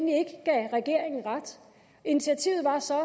gav regeringen ret initiativet var så at